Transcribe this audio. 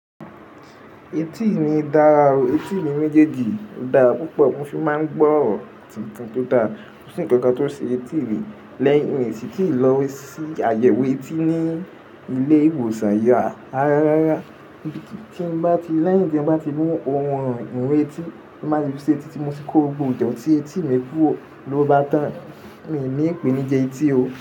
Etí mi dára, etí mi méjèèjì dára púpọ̀, mo sì máa ń gbọ́ ọ̀rọ̀ tuntun tó dára, mo sì ní nǹkan tó ṣe etí mi. Lẹ́yìn tí mo ti lọ sí àyẹ̀wò etí ní ilé ìwòsàn yà, ara rárá, lẹ́yìn tí mo bá ti mú ohun ìwọn ẹtí, mo máa fi ṣe etí tí mo ti kó gbogbo ìjẹ́un tí etí mi kúró lọ bá tán. Èmi ni ìpèníi etí o.